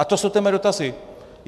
A to jsou ty mé dotazy.